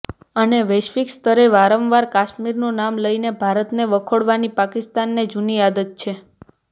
અને વૈશ્વિક સ્તરે વારંવાર કાશ્મીરનું નામ લઇને ભારતને વખોડવાની પાકિસ્તાનને જૂની આદત છે